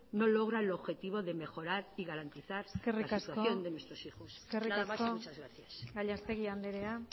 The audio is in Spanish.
no logra el objetivo de mejorar y garantizar la situación de nuestros hijos nada más y muchas gracias eskerrik asko gallastegui andrea